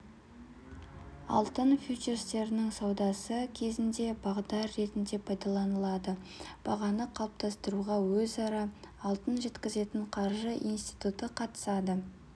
алтын фьючерстерінің саудасы кезінде бағдар ретінде пайдаланылады бағаны қалыптастыруға өзара алтын жеткізетін қаржы институты қатысады